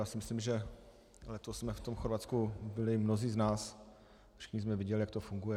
Já si myslím, že letos jsme v tom Chorvatsku byli mnozí z nás, všichni jsme viděli, jak to funguje.